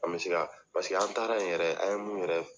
An bɛ se ka paseke an taara ye yɛrɛ an ye mun yɛrɛ